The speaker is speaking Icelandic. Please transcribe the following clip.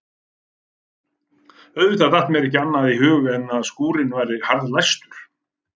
Auðvitað datt mér ekki annað í hug en að skúrinn væri harðlæstur.